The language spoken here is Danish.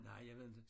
Nej jeg ved inte